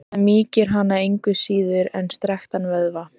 Það mýkir hana engu síður en strekktan vöðva.